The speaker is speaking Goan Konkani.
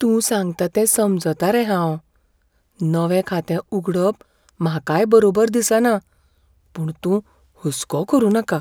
तूं सांगता तें समजतां रे हांव. नवें खातें उगडप म्हाकाय बरोबर दिसना, पूण तूं हुस्को करुं नाका.